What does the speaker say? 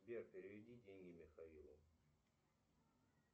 сбер переведи деньги михаилу